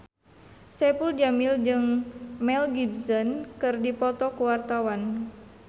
Saipul Jamil jeung Mel Gibson keur dipoto ku wartawan